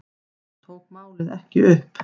Hann tók málið ekki upp.